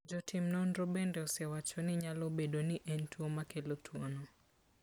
Jotim nonro bende osewacho ni nyalo bedo ni en tuwo makelo tuwono.